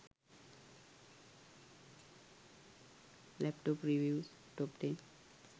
laptop reviews top 10